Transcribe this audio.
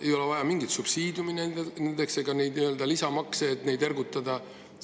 Ei ole vaja mingeid subsiidiume ega nii-öelda lisamakse, et neid ergutada.